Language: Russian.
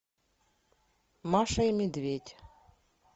маша и медведь